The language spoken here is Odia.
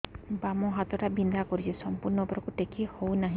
ବାମ ହାତ ଟା ବିନ୍ଧା କରୁଛି ସମ୍ପୂର୍ଣ ଉପରକୁ ଟେକି ହୋଉନାହିଁ